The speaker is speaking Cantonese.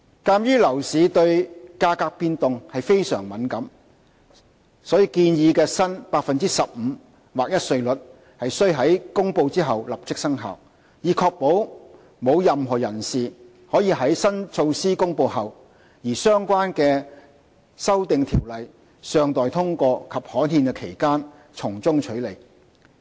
鑒於樓市對價格變動非常敏感，所以建議的新 15% 劃一稅率須於公布後立即生效，以確保沒有任何人士可在新措施公布後，而相關修訂條例尚待通過及刊憲的期間從中取利。